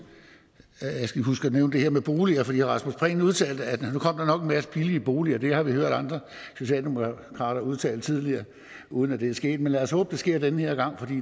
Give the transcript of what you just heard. at nævne det her med boliger for herre rasmus prehn udtalte at nu kommer masse billige boliger det har vi hørt andre socialdemokrater udtale tidligere uden det er sket men lad os håbe det sker den her gang for